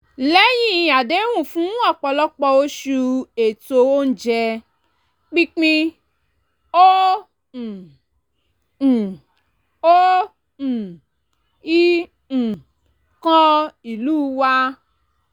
lẹ́yìn àdẹ́hùn fún ọ̀pọ̀lọpọ̀ oṣù ètò oúnjẹ pínpín ò um ì ò um ì um kan ìlú wa